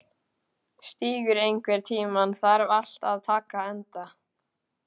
Stígur, einhvern tímann þarf allt að taka enda.